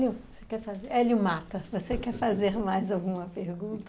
Hélio Mata, você quer fazer mais alguma pergunta?